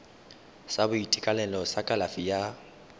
sa boitekanelo sa kalafi ya